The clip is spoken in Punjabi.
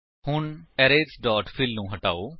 ਹੁਣ ਅਰੇਜ਼ ਡੋਟ ਫਿੱਲ ਨੂੰ ਹਟਾਓ